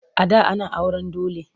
A da ana auren dole.